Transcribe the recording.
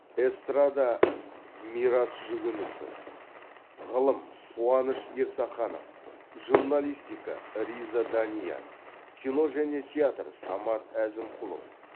эстрада мирас жүгінісов ғылым қуаныш ерсаханов журналистика риза данияр кино және театр самат әзімқұлов